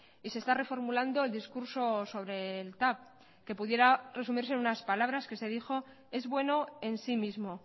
y se está reformulando el discurso sobre el tav que pudiera resumirse en unas palabras que se dijo es bueno en sí mismo